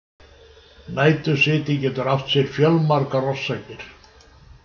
Nætursviti getur átt sér fjölmargar orsakir.